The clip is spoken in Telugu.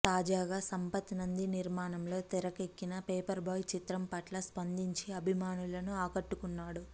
తాజాగా సంపత్ నంది నిర్మాణం లో తెరకెక్కిన పేపర్ బాయ్ చిత్రం పట్ల స్పందించి అభిమానులను ఆకట్టుకున్నాడు